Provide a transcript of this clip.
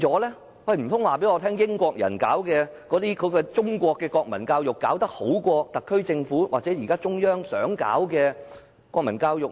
難道英國人推行的中國國民教育比特區政府或中央現時想推行的國民教育好嗎？